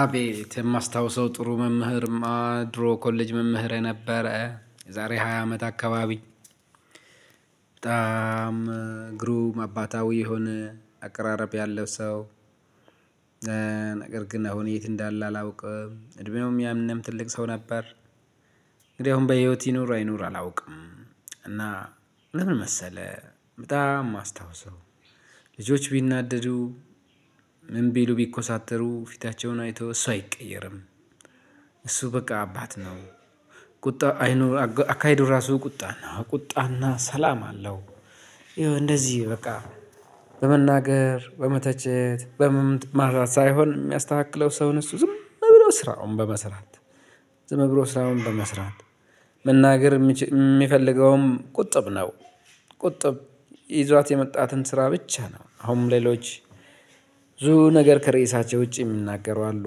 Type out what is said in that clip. አቤት የማስታውሰው ጥሩ መምህርማ ድሮ ኮሌጅ መምህሬ ነበረ የዛሬ ሃያ አመት አካባቢ በጣም ግሩም አባታዊ የሆነ አቀራረብ ያለው ሰው። ነገር ግን አሁን የት እንዳለ አላውቅም። እድሜውም ያኔም ትልቅ ሰው ነበር። እንግዲህ አሁን በህይወት ይኑር አይኑር አላውቅም። እና ለምን መሰለህ በጣም የማስታውሰው። ልጆች ቢናደዱ ምን ቢሉ ቢኮሳተሩ ፊታቸውን አይተው እሱ አይቀየርም። እሱ በቃ አባት ነው። ቁጣ አይኑ አካሄዱ ራሱ ቁጣና ቁጣና ሰላም አለው። ይኸው እንደዚህ በቃ በመናገር በመተቸት በመማታት ሳይሆን የሚያስተካክለው ሰውን እሱ ዝም ብሎ ስራውን በመስራት። ዝም ብሎ ስራውን በመስራት መናገር የሚፈልገውም ቁጥብ ነው። ቁጥብ ይዟት የመጣትን ስራ ብቻ ነው አሁንም ሌሎች። ብዙ ነገር ከርዕሳቸው ውጪ የሚናገሩ አሉ።